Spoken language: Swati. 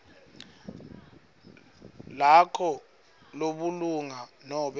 lakho lebulunga nobe